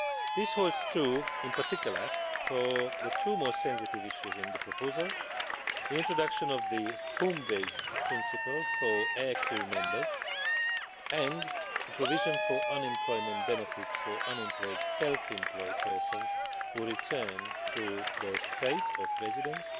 This holds true in particular for the two most sensitive issues in the proposal the introduction of the home base principle for air crew members, and the provision for unemployment benefits for unemployed self employed persons who return to their state of residence